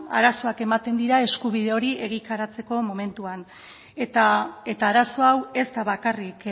ba arazoak ematen dira eskubide hori egikaritzeko momentuan eta arazo hau ez da bakarrik